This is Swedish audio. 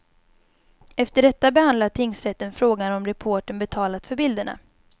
Efter detta behandlar tingsrätten frågan om reportern betalat för bilderna.